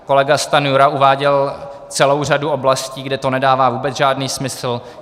Kolega Stanjura uváděl celou řadu oblastí, kde to nedává vůbec žádný smysl.